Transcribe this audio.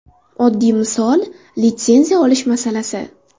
Oddiy misol litsenziya olish masalasi.